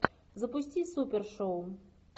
запусти супершоу